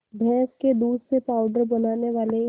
भैंस के दूध से पावडर बनाने वाले